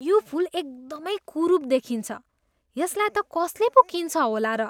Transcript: यो फुल एकदमै कुरूप देखिन्छ। यसलाई त कसले पो किन्छ होला र?